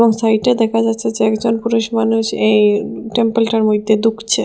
ও সাইডে দেখা যাচ্ছে যে একজন পুরুষমানুষ এই টেম্পলটার মইদ্যে ধুকছে ।